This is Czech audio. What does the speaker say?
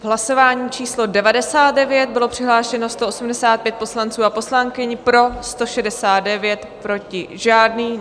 V hlasování číslo 99 bylo přihlášeno 185 poslanců a poslankyň, pro 169, proti žádný.